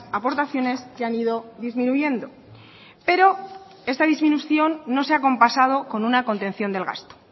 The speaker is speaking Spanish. aportaciones que han ido disminuyendo pero esta disminución no se ha acompasado con una contención del gasto